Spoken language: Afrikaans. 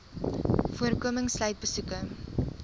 voorkoming sluit besoeke